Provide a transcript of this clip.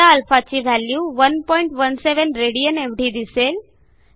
आता α ची value 117 rad एवढी दिसेल